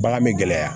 Bagan bɛ gɛlɛya